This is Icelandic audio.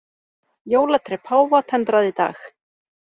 Jólatré páfa tendrað í dag